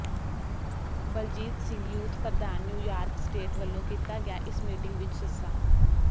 Baljit Singh youth ਪ੍ਰਧਾਨ New York state ਵਲੋਂ ਕੀਤਾ ਗਿਆ ਇਸ ਮੀਟਿੰਗ ਵਿਚ ਸ